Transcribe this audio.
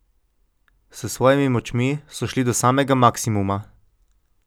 S svojimi močmi so šli do samega maksimuma.